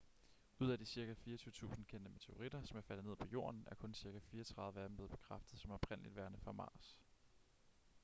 ud af de cirka 24.000 kendte meteoritter som er faldet ned på jorden er kun cirka 34 af dem blevet bekræftet som oprindeligt værende fra mars